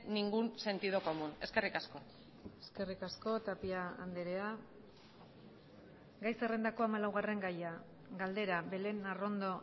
ningún sentido común eskerrik asko eskerrik asko tapia andrea gai zerrendako hamalaugarren gaia galdera belén arrondo